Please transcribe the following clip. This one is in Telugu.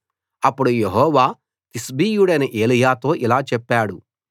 అప్పుడు యెహోవా తిష్బీయుడైన ఏలీయాతో ఇలా చెప్పాడు